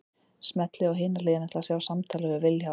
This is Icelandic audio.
Smellið á Hin hliðin til að sjá viðtalið við Vilhjálm.